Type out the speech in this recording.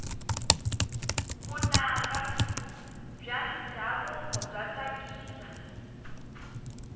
vunanga bya ndhavuko bya tsakisa